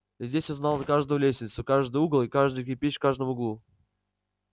здесь он знал каждую лестницу каждый угол и каждый кирпич в каждом углу